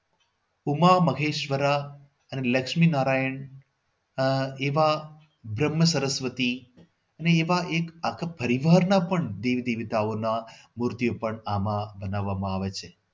ઉમા મહેશ્વરા અને લક્ષ્મી નારાયણ આહ એવા બ્રહ્મ સરસ્વતી અને એવા એક જ પરિવારના પણ દેવ દેવતાઓના મૂર્તિઓ પણ આમાં બનાવવામાં આવે છે.